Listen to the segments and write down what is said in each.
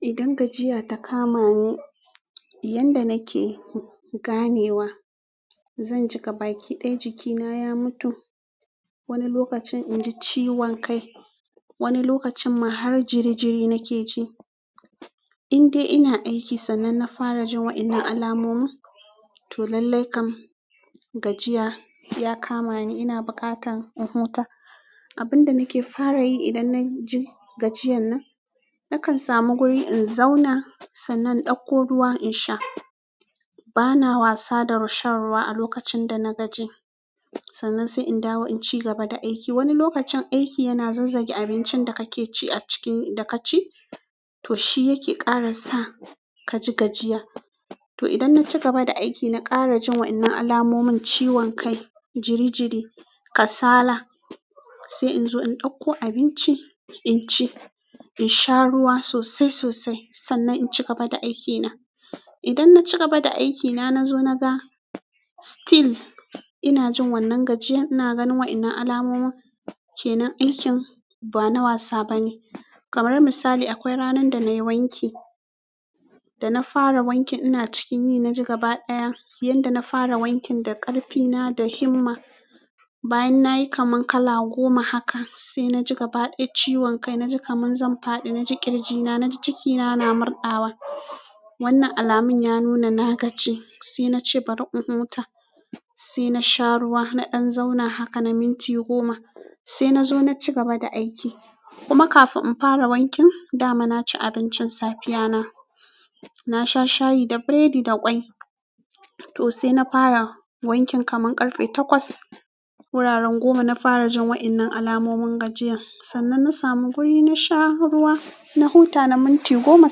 Idan gajiya ta kamani yanda nake ganewa, zan ji gabaki ɗaya jikina ya mutu. Wani lokacin inji ciwon kai, wani lokacinma har jiri jirima nike ji indai ina aiki sannan na fara jin waɗannan alamomi, to lallai kam gajiya ya kama ni. Ina buƙatan in huta. Abin da nake fara yi idan na ji gajiyan nan, nakan samu guri in zauna sannan in ɗauko ruwa in sha. Ba na wasa da shan ruwa a lokacin da na gaji, sannan sai in dawo in ci gaba da aiki. Wani lokacin aiki yana zazzage abincin da kake ci a ciki, da ka ci, to shi yake ƙara sa ka ji gajiya. To idan na cigaba da aiki na ƙarajin waƴannan alamomin ciwon kai, jiri jiri, kasala, sai inzo in ɗauko abinci in ci. In sha ruwa sosai-sosai sannan in ci gaba da aikina. Idan na ci gaba da aikina na zo na ga still ina jin wannan gajiyan, ina ganin waƴannan alamomi kenan, aikin ba na wasa ba ne. Kamar misali, akwai ranar da nayi wanki, da na fara wankin ina cikin yi na ji gaba ɗaya, yanda na fara wankin da ƙarfina da himma, bayan nayi kaman kala goma haka, sai na ji gaba ɗaya ciwon kai. Na ji kaman zan faɗi, na ji ƙirjina, na ji cikina na murɗawa. Wannan alamun ya nuna na gaji. Sai nace bari in huta, sai na sha ruwa, na ɗan zauna haka na minti goma sai na zo na ci gaba da aiki. Kuma kafin in fara wankin, dama na ci abincin safiya na. Na sha shayi da biredi da ƙwai. To sai na fara wankin kaman ƙarfe takwas. Wuraren goma na fara jin waƴannan alamomin gajiyan, sannan na samu guri na sha ruwa, na huta na minti goma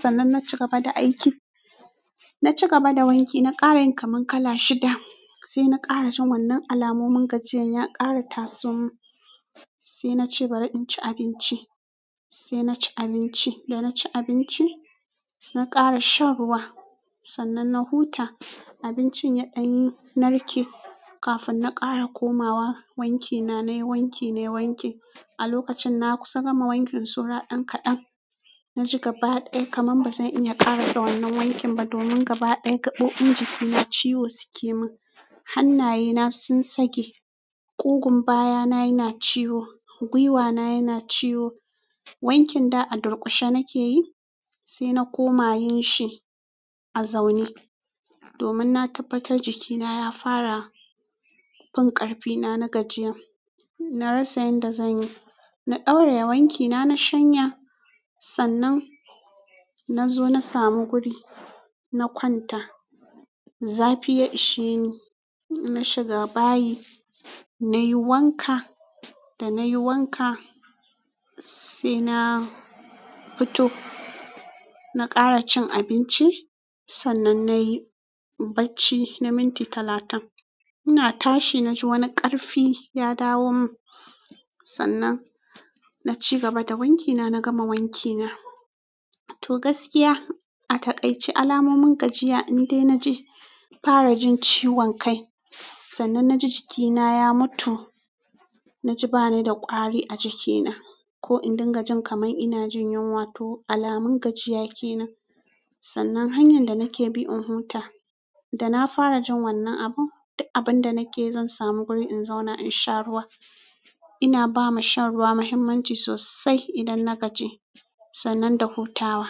sannan naci gaba da aiki. Na ci gaba da wanki, na ƙara yin kaman kala shida sai na ƙara jin wannan alamomin gajiyan. Ya ƙara taso mun sai nace bari in ci abinci, sai na ci abinci. Da na ci abinci, sai na ƙara shan ruwa sannan na huta. Abincin ya ɗan narke kafin na ƙara komawa wankina. Na yi wanki, na yi wanki. A lokacin na kusa gama wankin, saura ɗan kaɗan, na ji gaba ɗaya kaman bazan iya ƙarasa wannan wankin ba domin gaba ɗaya gaɓoɓin jikina ciwo suke min. Hannayena sun sake, ƙugun bayana yana ciwo, guiwana yana ciwo. Wankin da a durƙushe nake yi sai na koma yin shi a zaune domin na tabbatar jikina ya fara. Din ƙarfina na gajiya. Na rasa yadda zan yi. Na ɗauraye wankina na shanya sannan na zo na samu guri, na kwanta. Zafi ya ishe ni. Na shiga bayi, nayi wanka. Da nayi wanka, sai na fito, na ƙara cin abinci sannan nayi bacci na minti talatin. Ina tashi, na ji wani ƙarfi ya dawo mun, sannan na ci gaba da wankina, na gama wankina. To gaskiya a taƙaice alamomin gajiya indai na ji, fara jin ciwon kai. Sannan na ji jikina ya mutu. Na ji ba ni da ƙwari a jikina. Ko in ɗinga jin kaman inajin yunwa, to alamun gajiya kenan, sannan hanyan da nike bi in huta, dana farajin wannan abun duk abunda nikeyi zan samu wuri in zauna in sha ruwa ina ba ma shan ruwa mahimmanci sosai idan na gaji sannan da hutawa.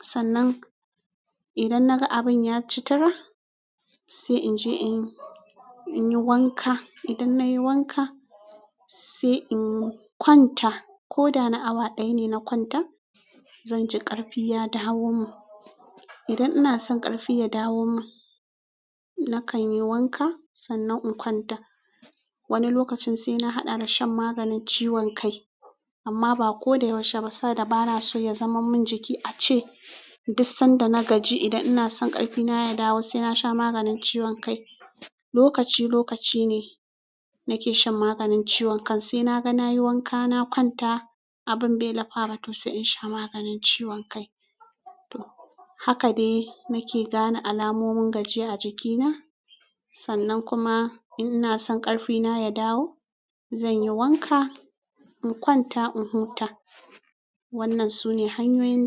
Sannan idan na ga abin ya ci tira, sai in je in, in yi wanka. Idan nayi wanka, sai in kwanta. Ko da na awa ɗaya ne na kwanta, zanji ƙarfi ya dawo min. Idan ina son ƙarfi ya dawo min, nakan yi wanka sannan in kwanta. Wani lokacin sai na haɗa da shan maganin ciwon kai amma ba ko da yaushe ba saboda bana so ya zaman mun jiki. Ace duk sanda na gaji idan ina son ƙarfi na ya dawo sai na sha maganin ciwon kai. Lokaci-lokaci ne nake shan maganin ciwon kai. Sai na ga nayi wanka, na kwanta, abin bai lafa ba to sai in sha maganin ciwon kai. To, haka de nake gane alamomin gajiya a jikina. Sannan kuma in ina san ƙarfina ya dawo, zan yi wanka, in kwanta, in huta. Wannan su ne hanyoyin da.